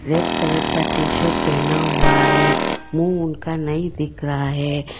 Red colour का T shirt पहना हुआ है मुंह उनका नहीं दिख रहा है।